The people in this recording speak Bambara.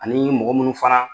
Ani mɔgɔ minnu fana